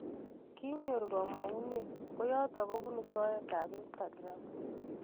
Kinyoor kamang'unet koyotok kobunuu soet ap Instagram